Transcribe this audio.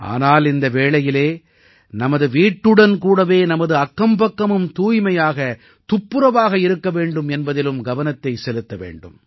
ஆனால் இந்த வேளையில் நமது வீட்டுடன் கூடவே நமது அக்கம்பக்கமும் தூய்மையாக துப்புரவாக இருக்க வேண்டும் என்பதிலும் கவனத்தைச் செலுத்த வேண்டும்